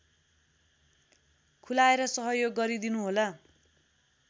खुलाएर सहयोग गरिदिनुहोला